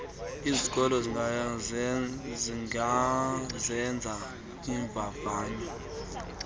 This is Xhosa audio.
izikolo zingazenza iimvavanyo